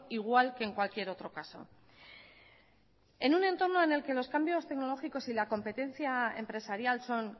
igual que en cualquier otro caso en un entorno en el que los cambios tecnológicos y la competencia empresarial son